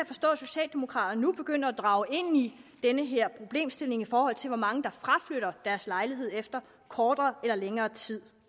forstå at socialdemokraterne nu begynder at drage ind i den her problemstilling i forhold til hvor mange der fraflytter deres lejlighed efter kortere eller længere tid